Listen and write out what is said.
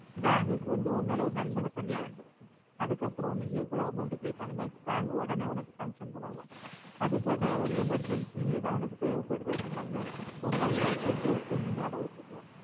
Bank கு வந்து உமேல ஒரு நன்மகத்தன்மை வந்துரும் அதுக்கு அப்ரோ நீ ஏவோலோவு amount கேட்டலுமே ஒடனே உனக்கு sanction பண்ணுவாங்க அதுக்காவது ஒரு emergency எதாவது உனக்கு தேவை படுத்து அப்புடின்னாலுமே உன்கைல இருக்குற jewels எல்லாமே அடகு வெச்சுக்கலாம்